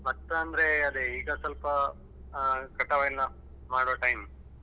ಭತ್ತ ಅಂದ್ರೆ ಅದೇ ಈಗ ಸ್ವಲ್ಪ ಅಹ್ ಕಟಾವು ಎಲ್ಲ ಮಾಡುವ time .